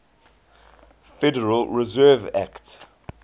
federal reserve act